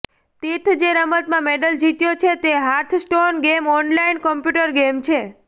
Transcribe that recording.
તીર્થે જે રમતમાં મેડલ જીત્યો છે તે Hearthstone game online computer game છે